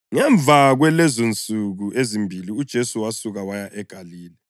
Ngemva kwalezonsuku ezimbili, uJesu wasuka waya eGalile.